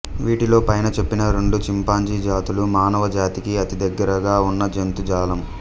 వీటిలో పైన చెప్పిన రెండు చింపాజీ జాతులు మానవ జాతికి అతి దగ్గరగా ఉన్న జంతుజాలం